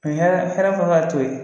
U ye hɛrɛ hɛrɛ t'o ye.